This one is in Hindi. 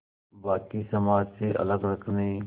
बाक़ी समाज से अलग रखने